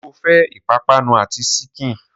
Sọ fẹ́ ìpápánu àti síkìn?